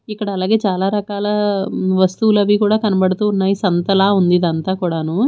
ఇక్కడలాగే చాలా రకాలా వస్తువులు అవీ కూడా కనబడుతూ ఉన్నాయి సంతలా ఉంది ఇదంతా కూడాను.